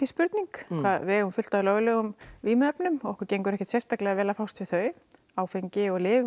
spurning við eigum fullt af löglegum vímuefnum og okkur gengur ekkert sérstaklega vel að fást við þau áfengi og lyf